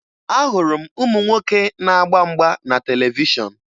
Ahụrụ m ụmụ nwoke na-agba mgba na televishọn